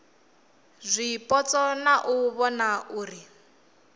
zwipotso na u vhona uri